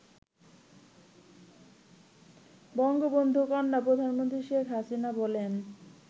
বঙ্গবন্ধুকন্যা প্রধানমন্ত্রী শেখ হাসিনা বলেন